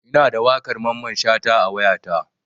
Ina da waƙar Mamman Shata a wayata.